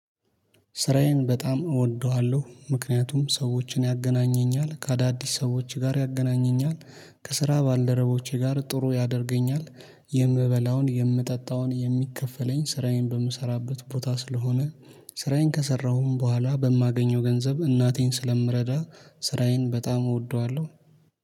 ስራዬን በጣም እወደዋለሁ ምክንያቱም ሰዎችን ያገናኘኛል ከአዳዲስ ሰዎች ጋር ያገናኘኛል ከስራ ባልደረቦቼ ጋር ጥሩ ያደርገኛል። የምበላውን የምጠጣውን የሚከፈለኝ ስራዬን በምሰራበት ቦታ ስለሆነ ስራዬን ከሰራሁም በኋላ በማገኘው ገንዘብ እናቴን ስለምረዳ። ስራዬን በጣም እወደዋለሁ